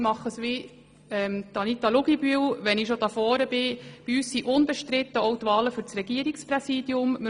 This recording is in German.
Ich mache es wie Anita Luginbühl und gebe, da ich gerade hier vorne bin, bekannt, dass die Wahlen für das Regierungspräsidium bei uns unbestritten sind.